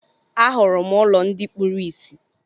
Ahụrụ m ụlọ ndị kpuru ìsì.